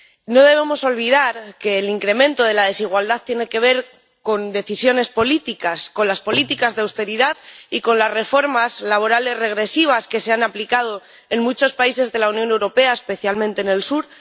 No debemos olvidar que el incremento de la desigualdad tiene que ver con decisiones políticas, con las políticas de austeridad y con las reformas laborales regresivas que se han aplicado en muchos países de la Unión Europea, especialmente en el sur.